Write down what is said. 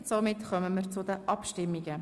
Somit kommen wir zu den Abstimmungen.